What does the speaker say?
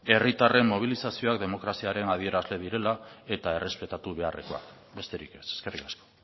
herritarren mobilizazioak demokraziaren adierazle direla eta errespetatu beharrekoak besterik ez eskerrik asko